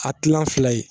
A tilan fila ye